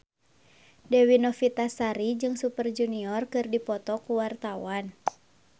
Dewi Novitasari jeung Super Junior keur dipoto ku wartawan